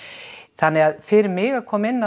þannig að fyrir mig að koma inn